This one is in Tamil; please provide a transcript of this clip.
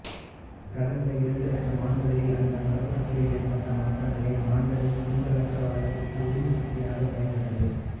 கடந்த இரண்டு லட்சமாண்டுகளில் அந்த மரபணுக்களில் ஏற்பட்ட மாற்றங்களே மாந்தனின் கூர்த்தலற வளர்ச்சிக்கு உந்துசக்தியாக பயன்பட்டது